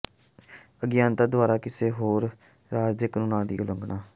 ਅਗਿਆਨਤਾ ਦੁਆਰਾ ਕਿਸੇ ਹੋਰ ਰਾਜ ਦੇ ਕਾਨੂੰਨਾਂ ਦੀ ਉਲੰਘਣਾ